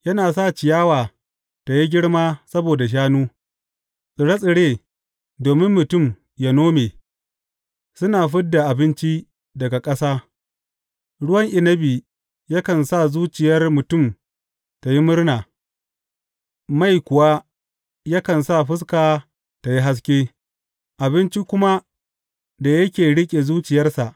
Yana sa ciyawa tă yi girma saboda shanu, tsire tsire domin mutum ya nome, suna fid da abinci daga ƙasa, ruwan inabi yakan sa zuciyar mutum tă yi murna, mai kuwa yakan sa fuska tă yi haske, abinci kuma da yake riƙe zuciyarsa.